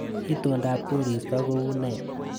Itondap koristo ko une